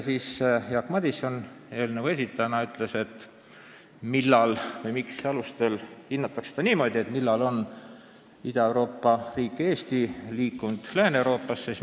Jaak Madison muudatusettepaneku ühe esitajana küsis, mis alustel seda hinnatakse, st millal on Ida-Euroopa riik Eesti Lääne-Euroopasse liikunud.